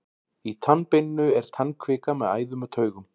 í tannbeininu er tannkvika með æðum og taugum